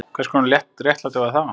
Hvers konar réttlæti var það?